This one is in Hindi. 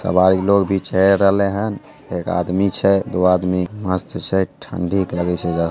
सब लोग छै चले रहल छै एक आदमी छै दो आदमी मस्त छै ठंडी लगे छै ज्यादा--